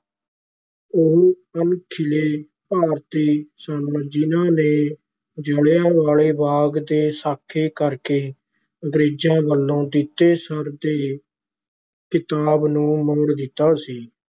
ਉਹ ਅਣਖੀਲੇ ਭਾਰਤੀ ਸਨ ਜਿਨਾਂ ਨੇ ਜਲਿਆਂ ਵਾਲੇ ਬਾਗ ਦੇ ਸਾਕੇ ਕਰਕੇ ਅੰਗਰੇਜ਼ਾਂ ਵੱਲੋਂ ਦਿੱਤੇ ਸਰ ਦੇ ਖਿਤਾਬ ਨੂੰ ਮੋੜ ਦਿੱਤਾ ਸੀ।